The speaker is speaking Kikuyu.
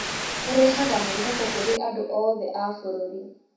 Ũrehaga mwĩhoko kũrĩ andũ oothe a bũrũri.